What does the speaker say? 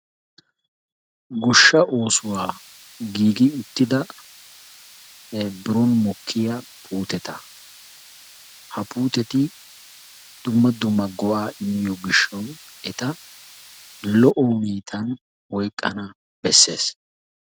Goshsha oosuwa giigi uttida biroon mokkiya puuteta ha puuteti dumma dumma go'aa immiyoo gishawu eta lo'o hanotan oyqqana besses.